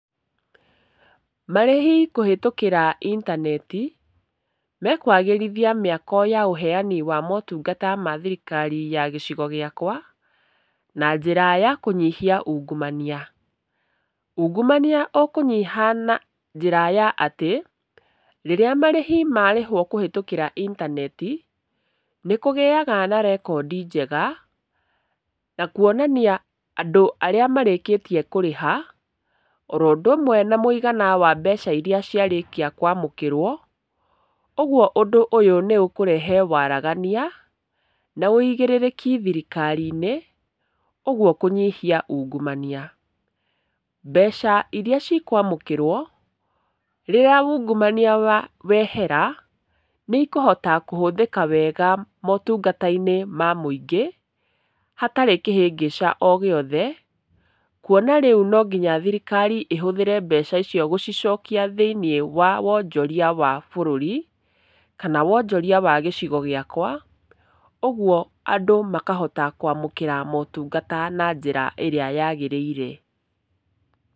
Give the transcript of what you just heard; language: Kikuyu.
Marĩhi kũhĩtũkĩra intaneti, mekwagĩrithia mĩako ya ũheani wa maũtungata ma thirikarai ya gĩcigo gĩakwa, na njĩra ya kũnyihia ungumania. Ungumania ũkũnyiha na njĩra ya atĩ, rĩrĩa marĩhi marĩhwo kũhĩtũkĩra intaneti, nĩkũgĩaga na rekondi njega, nakuonania andũ arĩa marĩkĩtie kũrĩha, oro oũndũ ũmwe na mũigana wa mbeca iria ciarĩkia kwamũkĩrwo, ũguo ũndũ ũyũ nĩũkũrehe waragania na wũigĩrĩrĩki thirikari-inĩ, ũguo kũnyihia ungumania. Mbeca iria cikwamũkĩrwo, rĩrĩa ungumania wehera, nĩikũhota kũhũthĩka wega maũtungata-inĩ ma mũingĩ, hatarĩ kĩhĩngĩca ogĩothe, kuona rĩu nonginya thirikari ĩhũthĩre mbeca icio gũcicokia thĩinĩ wa wonjoria wa bũrũri, kana wonjoria wa gĩcigo gĩakwa, ũguo andũ makahota kwamũkĩra maũtungata na njĩra ĩrĩa yagĩrĩire.